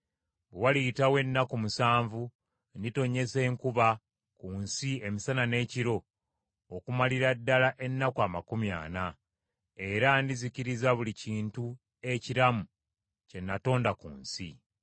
Bwe waliyitawo ennaku musanvu nditonnyesa enkuba ku nsi emisana n’ekiro okumalira ddala ennaku amakumi ana, era ndizikiriza buli kintu ekiramu kye natonda ku nsi.”